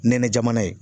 Nɛnɛ jamana ye